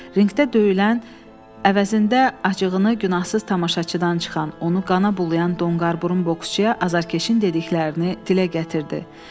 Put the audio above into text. Ringdə döyülən əvəzində acığını günahsız tamaşaçıdan çıxan, onu qana bulayan donqarburun boksçuyə azarkeşin dediklərini dilə gətirdi.